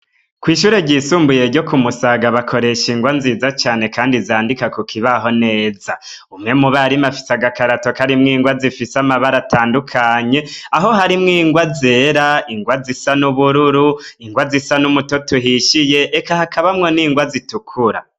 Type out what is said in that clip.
Kw'ishure ryisumbuye ryo ku musaga ,bakoresha ingwa nziza cane kandi izandika ku kibaho neza. Umwe mubarimu afise agakarato kari mw'ingwa zifise amabara atandukanye, aho hari mw'ingwa zera, ingwa zisa n'ubururu ,ingwa zisa n'umuto uhishiye eka hakabamwo n'ingwa zitukura.